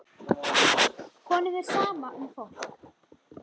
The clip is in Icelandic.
Honum er sama um fólk.